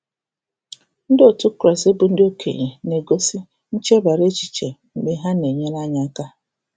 Ndị otu Kraịst bụ ndị okenye na-egosi um nchebara echiche mgbe ha na-enyere anyị aka.